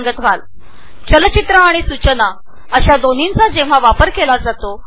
प्रभावी शिक्षणासाठी चलचित्र आणि सूचना या दोन्हींचाही वापर केला जातो